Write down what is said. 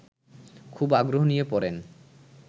খুব আগ্রহ নিয়ে পড়েন